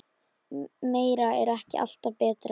Meira er ekki alltaf betra.